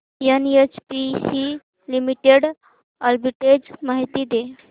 NHPC Limited arbitrage माहिती दे